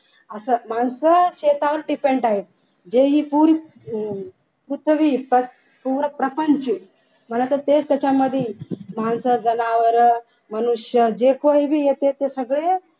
अस माणसं शेतावर depend आहे जे ही पूर्व प्रपंच या पण असं ते त्याच्यामध्ये माणसे जनावर मनुष्य जे कोणी बी येतेत ते सगळे